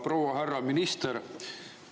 Proua-härra minister!